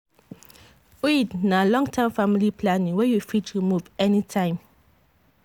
iud na long-term family planning wey you fit remove anytime.